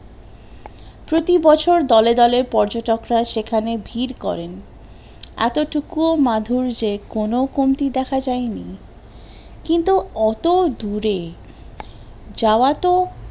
প্রতিবছর দলে দলে পর্যটক রা সেখানে ভিড় করেন, এতটুকুও মাধুর্যে কোন কমতি দেখা যায়নি, কিন্তু অত দূরে যাওযা তো